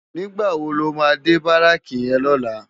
Nigbá wó ló má dé báráki yèn lòlá?